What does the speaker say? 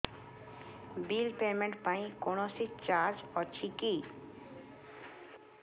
bill payment ପାଇଁ କୌଣସି charge ଅଛି କି